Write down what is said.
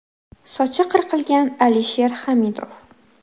Sochi qirqilgan Alisher Hamidov.